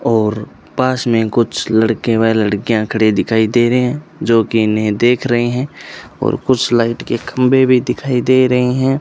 और पास में कुछ लड़के व लड़कियां खड़े दिखाई दे रहे हैं जोकि इन्हे देख रहे हैं और कुछ लाइट के खंबे भी दिखाई दे रहे हैं।